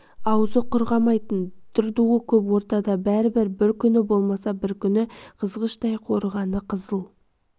аузы құрғамайтын дыр-дуы көп ортада бәрібір бір күні болмаса бір күні қызғыштай қорығаны қызыл